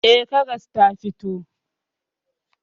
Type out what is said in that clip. Eh, karas ta fito.